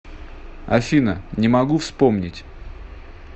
афина не могу вспомнить